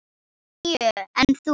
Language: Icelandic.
Níu, en þú?